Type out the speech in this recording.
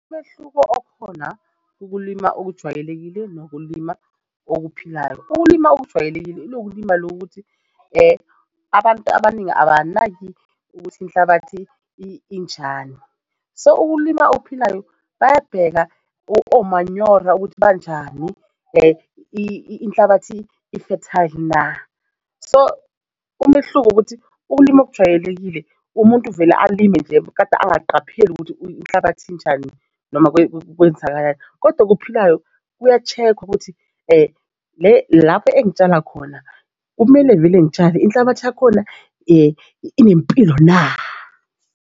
Umehluko okhona, ukulima okujwayelekile nokulima okuphilayo ukulima okujwayelekile ilokulima lokuthi abantu abaningi abanaki ukuthi inhlabathi injani so ukulima okuphilayo bayabheka omanyora ukuthi banjani inhlabathi ifethayili na? So umehluko ukuthi ulimi okujwayelekile umuntu vele alime nje, kade angaqapheli ukuthi inhlabathi injani noma kwenzakalayo kodwa okuphilayo kuya-check-wa ukuthi lapho engitshala khona kumele vele ngitshale inhlabathi yakhona inempilo na?